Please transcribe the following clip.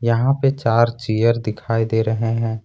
यहां पे चार चेयर दिखाई दे रहे हैं।